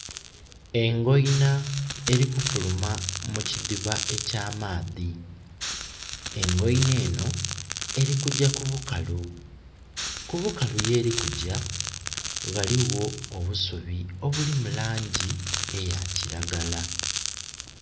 Engoina eli kufuluma mu kidhiba ekya maadhi. Engoina enho eli kugya ku bukalu. Kubukalu yeli kugya ghaligho obusubi obuli mu laangi eya kiragala.